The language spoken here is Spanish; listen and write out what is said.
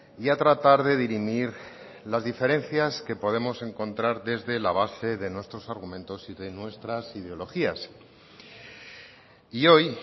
y a tratar de dirimir las diferencias que podemos encontrar desde la base de nuestros argumentos y de nuestras ideologías y hoy